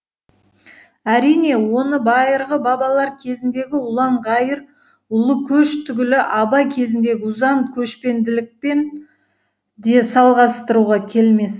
әрине оны байырғы бабалар кезіндегі ұлан ғайыр ұлы көш түгілі абай кезіндегі ұзан көшпенділікпен де салғастыруға келмес